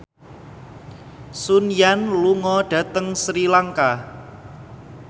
Sun Yang lunga dhateng Sri Lanka